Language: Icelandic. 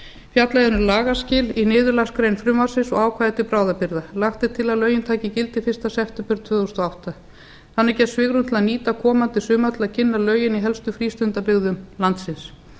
fjallað er um lagaskil í niðurlagsgrein frumvarpsins og ákvæði til bráðabirgða lagt er til að lögin taki gildi fyrsta september tvö þúsund og átta þannig gefst svigrúm til að nýta komandi sumar til að kynna lögin í helstu frístundabyggðum landsins